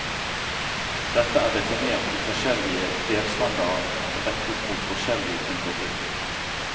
Dette er definert i forskjellige delstandarder rettet mot forskjellige typer bruk.